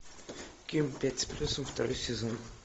ким пять с плюсом второй сезон